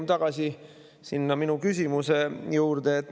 Me jõuame tagasi minu küsimuse juurde.